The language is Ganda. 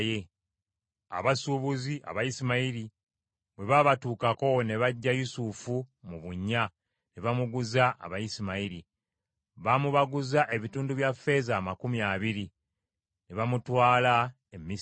Abasuubuzi, Abayisimayiri bwe baabatuukako ne baggya Yusufu mu bunnya, ne bamuguza Abayisimayiri. Baamubaguza ebitundu bya ffeeza amakumi abiri; ne bamutwala e Misiri.